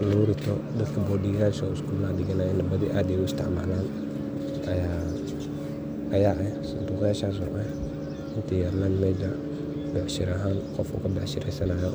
ini lagu rito .Dadka boardingyasha oo iskulaha diganayan ay aad u isticmalan ayaa sanduqyasha isticmalan oo becshara ahan qofka ka becshareysanayo.